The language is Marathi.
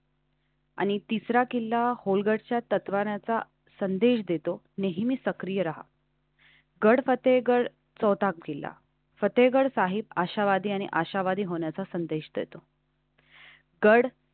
आणि तिसरा किल्ला खोलगटच्या तत्वांनाचा संदेश देतो. नेहमी सक्रीय राहा गड फतेहगढ चौथा केला फतेहगढ साहिब आशावादी आणि आशावादी होण्याचा संदेश देतो. गड